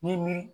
Ni mi